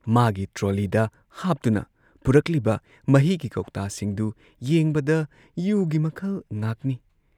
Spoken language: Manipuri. ꯃꯥꯒꯤ ꯇ꯭ꯔꯣꯂꯤꯗ ꯍꯥꯞꯇꯨꯅ ꯄꯨꯔꯛꯂꯤꯕ ꯃꯍꯤꯒꯤ ꯀꯧꯇꯥꯁꯤꯡꯗꯨ ꯌꯦꯡꯕꯗ ꯌꯨꯒꯤ ꯃꯈꯜ ꯉꯥꯛꯅꯤ ꯫